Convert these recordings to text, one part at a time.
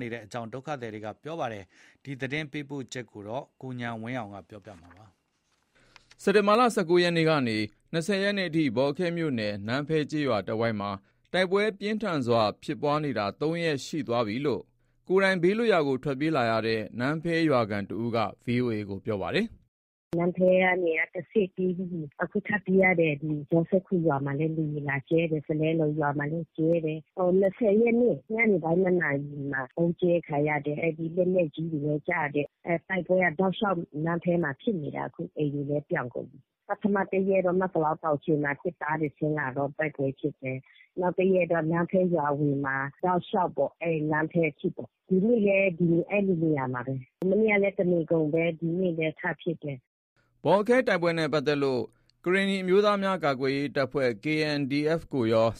နေအကြောင်း သတင်းပေးပို့ချက်ကို ကိုဉာဏ်ဝင်းအောင်က တင်ပြပေးထားပါတယ်။ စက်တင်ဘာ ၁၉ ရက်နေ့ ကနေ ဒီနေ့ ၂၀ ရက်နေ့အထိ ဘောလခဲမြို့နယ် နန်းဖဲကျေးရွာတဝိုက်မှာ တိုက်ပွဲပြင်းထန်ဖြစ်ပွားနေတာ ၃ ရက်ရှိသွားပြီး ကိုယ်တိုင် ဘေးလွတ်ရာကို ထွက်ပြေးနေရတဲ့ နန်းဖဲရွာခံတဦးက ဗွီအိုအေကို ပြောပါတယ်။ "နန်းဖဲကနေတဆင့် ပြေးပြီးပြီ။ အခု ထပ်ပြေးရတယ်။ ဒီတော်စဲခူရွာမှာလည်း လေယာဥ်လာကြဲတယ်။ ကလဲလူးရွာမှာလည်း ကြဲတယ်။ ၂၀ ရက်နေ့ ညနေပိုင်း ၂ နာရီမှာ ဗုံးကြဲခံရတယ်။ လက်နက်ပြီးတွေလည်း ကျတယ်။ တိုက်ပွဲက တောက်လျှောက် နန်းဖဲမှာဖြစ်နေတာ။ အခု အိမ်တွေလည်း ပြောင်းကုန်ပြီ။ ပထမတရက်တော့ မဲစလောင်းတောင်ခြေမှာ စစ်သားတွေဆင်းလာတော့ တိုက်ပွဲဖြစ်တယ်။ နောက်တရက်တော့ နန်းဖဲရွာအဝင်မှာ တောက်လျှောက်ပေါ့။ အဲ့နန်းဖဲအထိပေါ့။ ဒီနေ့လည်း အဲ့ဒီနေရာမှာပဲ။ မနေ့ကလည်း တနေ့ကုန်ပဲ။ ဒီနေ့လည်း ထပ်ဖြစ်တယ်။" ဘောလခဲတိုက်ပွဲအကြောင်း ပိုပြီးသိရဖို့ ကရင်နီအမျိုးသားများကာကွယ်ရေးတပ် (KNDF ) နဲ့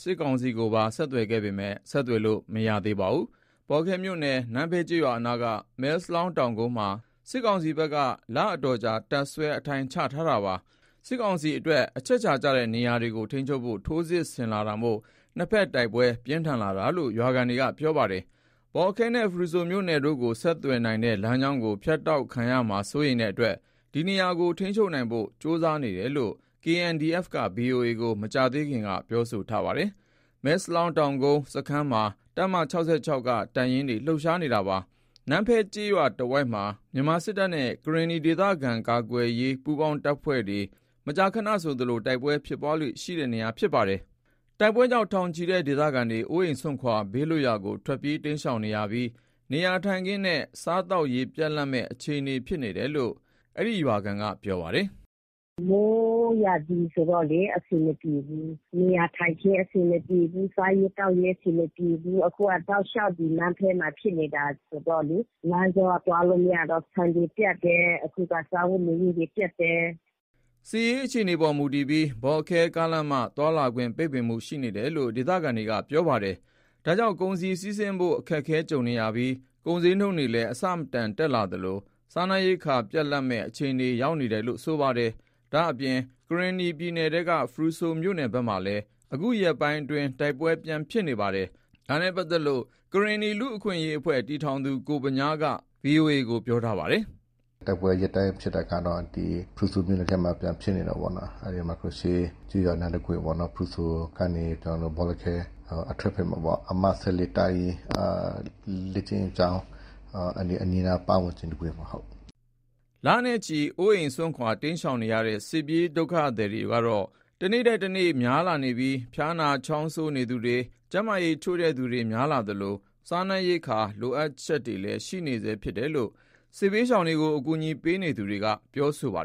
စစ်ကောင်စီကို ဆက်သွယ်ခဲ့ပေမယ့် ဆက်သွယ်လို့ မရသေးပါဘူး။ ဘောလခဲမြို့နယ် နန်းဖဲကျေးရွာအနားက မဲစလောင်းတောင်ကုန်းမှာ စစ်ကောင်စီဘက်က လအတော်ကြာ တပ်စွဲအထိုင်ချထားတာပါ။ စစ်ကောင်စီအတွက် အချက်အခြာကျတဲ့နေရာတွေကို ထိန်းချုပ်ဖို့ ထိုးစစ်ဆင်လာတာမို့ နှစ်ဖက် တိုက်ပွဲပြင်းထန်လာတယ်လို့ ရွာခံက ပြောပါတယ် ဘောလခဲနဲ့ ဖရုဆိုမြို့နယ်တို့ကို ဆက်သွယ်နိုင်တဲ့လမ်းကြောင်းကို ဖြတ်တောက်ခံရမှာစိုးရိမ်တဲ့အတွက် ဒီနေရာကိုထိန်းချုပ်နိုင်ဖို့ကြိုးစားနေတယ်လို့ KNDF က ဗွီအိုအေကို မကြာခင်က ပြောဆိုထားပါတယ်။ မဲစလောင်းတောင်ကုန်းစခန်းမှာ တပ်မ ၆၆ က တပ်ရင်းတွေ လှုပ်ရှားနေတာပါ။ နန်းဖဲကျေးရွာတဝိုက်ဟာ မြန်မာစစ်တပ်နဲ့ ကရင်နီဒေသကာကွယ်ရေးပူးပေါင်းအဖွဲ့တွေ မကြာခဏ တိုက်ပွဲဖြစ်ပွားလေ့ရှိတဲ့နေရာဖြစ်ပါတယ်။ တိုက်ပွဲကြောင့် ထောင်နဲ့ချီတဲ့ ဒေသခံတွေ အိုအိမ်စွန့်ခွာ ဘေးလွတ်ရာကို ထွက်ပြေးတိမ်းရှောင်နေရပြီး နေရာထိုင်ခင်းနဲ့ စားရေးသောက် ပြတ်လပ်မယ့်အခြေအနေဖြစ်နေတယ်လို့ အဲ့ရွာခံက ပြောပါတယ်။ "မိုးရာသီဆိုတော့လေ အဆင်မပြေဘူး။ နေရာထိုင်ခင်း အဆင်မပြေဘူး။ စားရေးသောက်ရေး အဆင်မပြေဘူး။ အခုက တောက်လျှောက် ဒီနန်းဖဲမှာ ဖြစ်နေတာဆိုတော့လေ လမ်းကြောကသွားလို့မရတော့ ဆန်တွေပြတ်တယ်။ အခုက စားဝတ်နေရေးတွေ ပြတ််တယ်။" စစ်ရေးအခြေအနေအပေါ် မူတည်ပြီး ဘောလခဲ ကားလမ်းမ သွားလာခွင့်ပိတ်ပင်မှုရှိနေတယ်လို့ ဒေသခံတွေက ပြောပါတယ်။ ဒါကြောင့် ကုန်စည်စီးဆင်းဖို့ အခက်ကြုံနေပြီး၊ ကုန်ဈေးနှုန်းတွေလည်း အဆမတန်တက်နေသလို စားနပ်ရိက္ခာပြတ်လပ်မယ့် အခြေအနေရောက်ရှိနေတယ်လို့ ဆိုပါတယ်။ ဒါ့အပြင် ကရင်နီပြည်နယ်ထဲက ဖရူဆိုမြို့နယ်ဘက်မှာလည်း အခုရက်ပိုင် တိုက်ပွဲပြန်ဖြစ်နေပါတယ်။ ဒါနဲ့ ပတ်သက်လို့ ကရင်နီလူ့အခွင့်အရေး တည်ထောင်သူ ကိုဗညားက ဗုဒ္ဓဟူးနေ့မှာ ဗွီအိုအေကို ပြောထားပါတယ်။ "ကိုဗညား တိုက်ပွဲရက်တိုင်းဖြစ်တာက ဒီဖရူဆိုမြို့နယ်ထဲမှာ ပြန်ဖြစ်နေတယ်ပေါ့နော်။ အဲ့ဒီမှာကျေးရွာအနားတခွင် ဖရူဆိုကနေ ဘောလခဲ အထွက်ဘက်မှာပေါ့၊ အမှတ် (၁၄) တပ်ရင်း လေ့ကျင့်ကျောင်းအနီးအနားပတ်ဝနကျင် တခွင်ပေါ့။" လနဲ့ချီ အိုးအိမ်စွန့် တိမ်းရှောင်နေရတဲ့ စစ်ပြေးဒုက္ခသည်တွေက တနေ့ထက်တနေ့ များလာနေပြီး ဖျားနာ ချောင်းဆိုးနေသူတွေ၊ ကျန်းမာရေးချို့တဲ့သူတွေလည်း များလာသလို စားနပ်ရိက္ခာလိုအပ်ချက်လည်း ရှိနေဆဲဖြစ်တယ်လို့ စစ်ဘေးရှောင်တွေကို အကူအညီပေးနေသူတွေက ပြောဆိုကြပါ